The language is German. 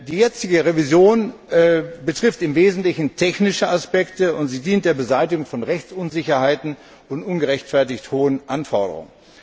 Die jetzige Revision betrifft im Wesentlichen technische Aspekte, und sie dient der Beseitigung von Rechtsunsicherheiten und ungerechtfertigt hohen Anforderungen.